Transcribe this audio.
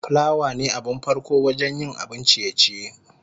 plawa ne abin farko wajen yin abun ciye-ciye.